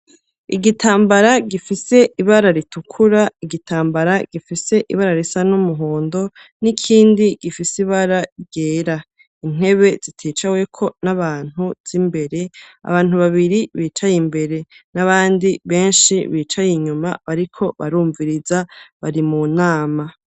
Igitambara gifise ibara ritukura, igitambara gifise ibara risa n'umuhondo, n'ikindi gifise ibara ryera; intebe ziticaweko n'abantu z'imbere, abantu babiri bicaye imbere, n'abandi benshi bicaye inyuma, bariko barumviriza, bari mu nama.